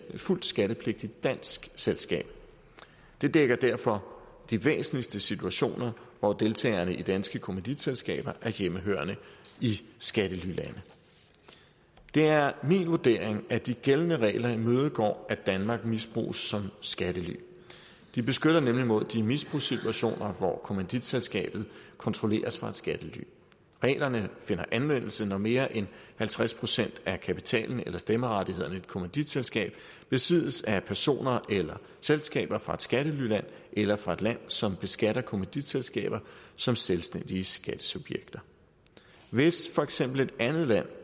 fuldt skattepligtigt dansk selskab det dækker derfor de væsentligste situationer hvor deltagerne i danske kommanditselskaber er hjemmehørende i skattelylande det er min vurdering at de gældende regler imødegår at danmark misbruges som skattelyland de beskytter nemlig mod de misbrugssituationer hvor kommanditselskaber kontrolleres fra et skattely reglerne finder anvendelse når mere end halvtreds procent af kapitalen eller stemmerettighederne i et kommanditselskab besiddes af personer eller selskaber fra et skattelyland eller fra et land som beskatter kommanditselskaber som selvstændige skattesubjekter hvis for eksempel et andet land